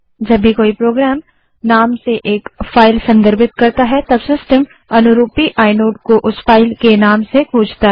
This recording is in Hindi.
जब भी कोई प्रोग्रामनाम से एक फाइल संदर्भित करता है तब सिस्टम अनुरूपी आइनोड को उस फाइल के नाम से खोजता है